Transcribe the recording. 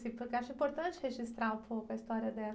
Assim, porque eu acho importante registrar um pouco a história dela.